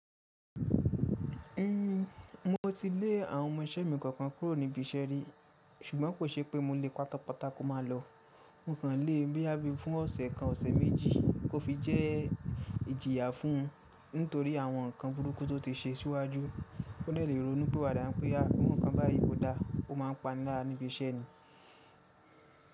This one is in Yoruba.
Hun, mo ti lé àwọn ọmọ isẹ́ mi kọ̀ 'ọ̀kan kúrò níbi iṣẹ́ rí, ṣùgbọ́n kò ṣe pé mo le pátápátá kó máa lọ. Mo kàn le boya bí àbí fún ọ̀sẹ̀ kan, ọ̀sẹ̀ méjì kó fi jẹ́ ìjìyà fún nítorí àwọn nǹkan burúkú tó ti se síwájú. Ó dẹ̀ lé ronu pi 'wàdà, n pé boya iru nǹkan báyìí kò dáa, ó máa ń pani lara níbi iṣẹ́ ni.